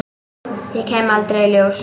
Ég kem aldrei í ljós.